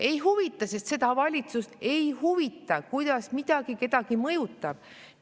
Ei huvita, sest seda valitsust ei huvita, kuidas miski kedagi mõjutab!